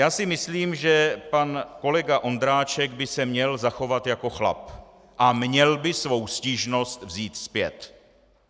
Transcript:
Já si myslím, že pan kolega Ondráček by se měl zachovat jako chlap a měl by svou stížnost vzít zpět.